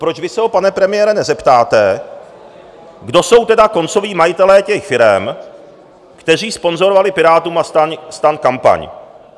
Proč vy se ho, pane premiére, nezeptáte, kdo jsou tedy koncoví majitelé těch firem, které sponzorovaly Pirátům a STAN kampaň?